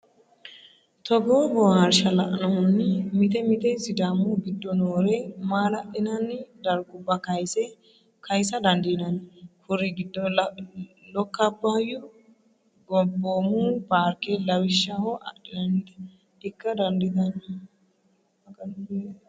Togoo boohaarsha lainohunni mite mite Sidaami giddo noore maala’linanni dargubba kaysa dandiinanni. Kuri giddo Lokka Abbaayyu Gobboomu Paarke lawishshaho adhinannite ikka daanditano?